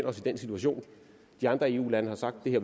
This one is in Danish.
os i den situation at de andre eu lande har sagt at